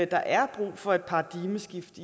der er brug for et paradigmeskifte